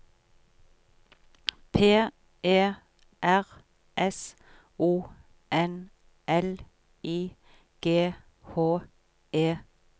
P E R S O N L I G H E T